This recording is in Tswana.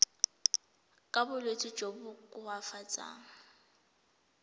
ka bolwetsi jo bo koafatsang